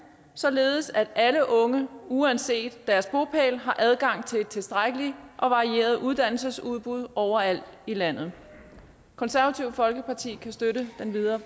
således at alle unge uanset deres bopæl har adgang til et tilstrækkeligt og varieret uddannelsesudbud overalt i landet det konservative folkeparti kan støtte den videre